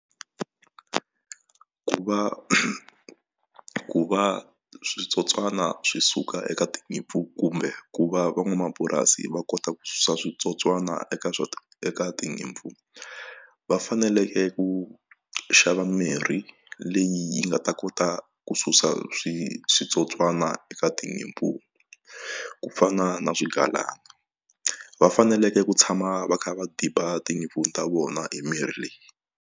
Ku va ku va switsotswana swi suka eka tinyimpfu kumbe ku va van'wamapurasi va kota ku susa switsotswana eka eka tinyimpfu va faneleke ku xava mirhi leyi nga ta kota ku susa switsotswana eka tinyimpfu ku fana na swigalani va faneleke ku tshama va kha va diba tinyimpfu ta vona hi mirhi leyi.